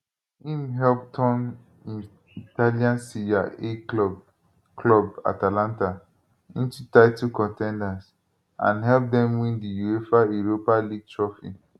im help turn im italian serie a club club atalanta into title con ten ders and help dem win di uefa europa league trophy